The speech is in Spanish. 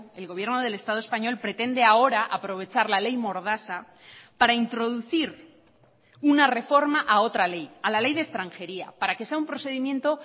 el gobierno del estado español pretende ahora aprovechar la ley mordaza para introducir una reforma a otra ley a la ley de extranjería para que sea un procedimiento